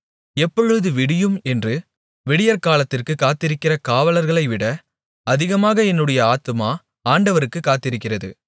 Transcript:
எப்பொழுது விடியும் என்று விடியற்காலத்திற்குக் காத்திருக்கிற காவலர்களைவிட அதிகமாக என்னுடைய ஆத்துமா ஆண்டவருக்குக் காத்திருக்கிறது